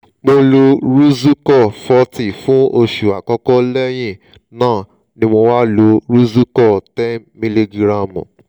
mo lo rozucor forty fún oṣù àkọ́kọ́ lẹ́yìn náà ni mo wá lo rozucor ten miligiramu